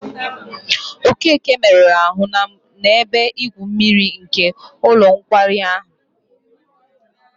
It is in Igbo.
Okeke meruru ahụ n'ebe igwu mmiri nke ụlọ nkwari ahụ.